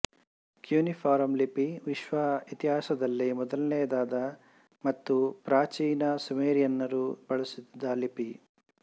cuneiform ಲಿಪಿ ವಿಶ್ವದ ಇತಿಹಾಸದಲ್ಲೇ ಮೊದಲನೆಯದಾದ ಮತ್ತು ಪ್ರಾಚೀನ ಸುಮೇರಿಯನರು ಬಳಸುತ್ತಿದ್ದ ಲಿಪಿ